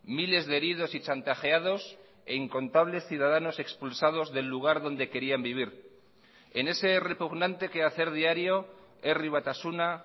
miles de heridos y chantajeados e incontables ciudadanos expulsados del lugar donde querían vivir en ese repugnante quehacer diario herri batasuna